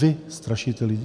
Vy strašíte lidi.